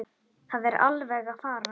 Það er alveg að farast.